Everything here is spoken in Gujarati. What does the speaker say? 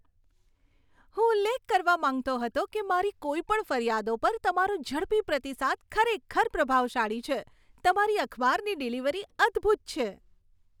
હું ઉલ્લેખ કરવા માંગતો હતો કે મારી કોઈપણ ફરિયાદો પર તમારો ઝડપી પ્રતિસાદ ખરેખર પ્રભાવશાળી છે. તમારી અખબારની ડિલિવરી અદ્ભૂત છે.